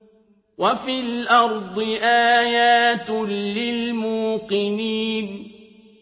وَفِي الْأَرْضِ آيَاتٌ لِّلْمُوقِنِينَ